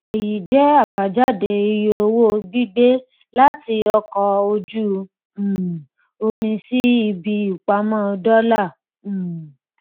èyí jẹ àbájáde iye owó gbígbé láti ọkọ ojú um omi sí ibi ìpamọ dọlà um